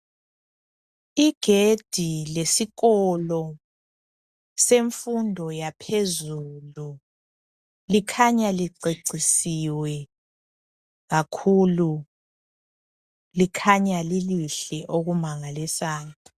Igedi lesikolo semfundo yaphezulu likhanya licecisiwe kakhulu, likhanya lilihle okumangalisayo.